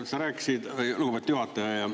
Sa rääkisid … lugupeetud juhataja!